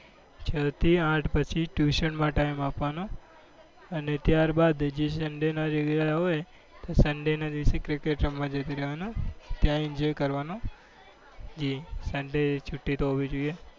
છ થી આઠ પછી tuition માં time આપવાનો અને ત્યારબાદ જે sunday ના હોય sunday ના દિવસે cricket રમવા જતું રહેવાનું. ત્યાં enjoy કરવાનો. sunday છુટ્ટી હોવી જોઈએ.